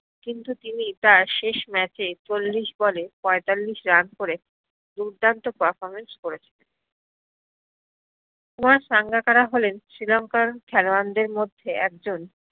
কিন্তু তিনি তার শেষ match এ চল্লিশ ball এ পয়ত্তালিশ run করে দুর্দান্ত performance করেছেন কুমার সাঙ্গাকারা শ্রীলংকার খেলোয়ারদের মধ্যে একজন